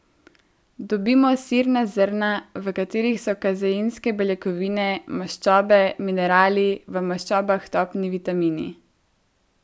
Dobimo sirna zrna, v katerih so kazeinske beljakovine, maščobe, minerali, v maščobah topni vitamini.